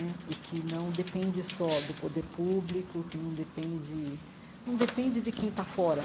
Né e que não depende só do poder público, que não depende não depende de quem está fora.